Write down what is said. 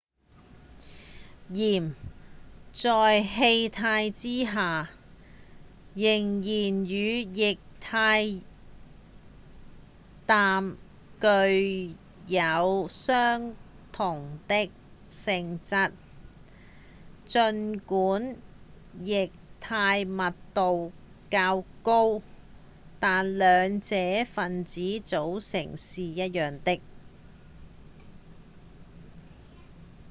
氮在氣態之下仍然與液態氮具有相同的性質儘管液態密度較高但兩者分子組成是一樣的